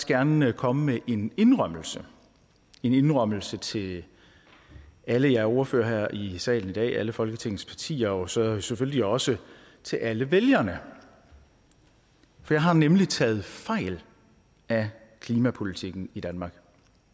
gerne komme med en indrømmelse indrømmelse til alle jer ordførere her i salen i dag og alle folketingets partier og så selvfølgelig også til alle vælgerne for jeg har nemlig taget fejl af klimapolitikken i danmark